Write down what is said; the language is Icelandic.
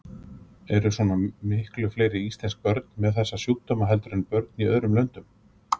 Eru svona miklu fleiri íslensk börn með þessa sjúkdóma heldur en börn í öðrum löndum?